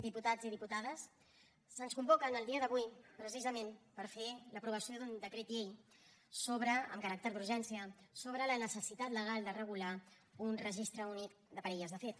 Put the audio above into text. diputats i diputades se’ns convoca en el dia d’avui precisament per fer l’aprovació d’un decret llei amb caràcter d’urgència sobre la necessitat legal de regular un registre únic de parelles de fet